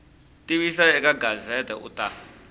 tivisa eka gazette u ta